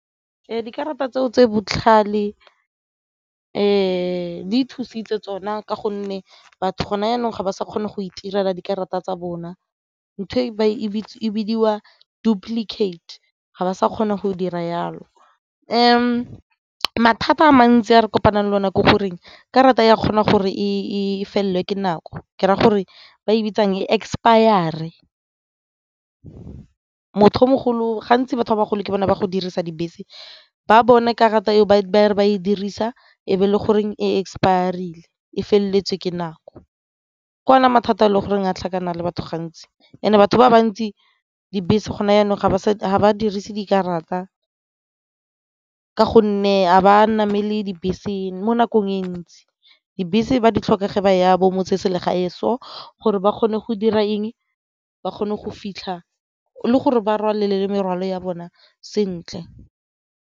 Dikarata tseo tse botlhale di thusitse tsona ka gonne batho go na jaanong ga ba sa kgona go itirela dikarata tsa bona ntho e e bidiwa duplicate ga ba sa kgone go dira jalo. Mathata a mantsi a re kopanang le o nako goreng karata e a kgona gore e felelwe ke nako ke raya gore ba e bitsang e expire-re ko batho ba bagolo ke bone ba go dirisa dibese ba bone karata eo ba re ba e dirisa e be e le goreng expire-rile e feleletse ke nako. Ke ona mathata e le goreng ga tlhakanang le batho gantsi and batho ba bantsi, dibese gone jaanong ga ba dirise dikarata ka gonne ga ba namele dibese mo nakong e ntsi, dibese ba di tlhoka ge ba ya bo motseselegae so gore ba kgone go dira eng? Ba kgone go fitlha le gore ba rwalela le morwalo ya bone sentle.